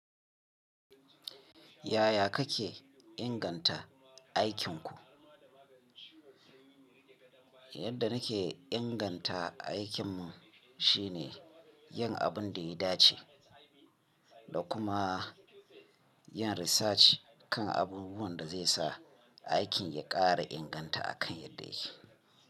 Yaya kake inganta aikinku? Yadda nake inganta aikinmu shine yin abin da ya dace da kuma yin research kan abubuwan da zai sa aikin ya ƙara inganta akan yadda yake.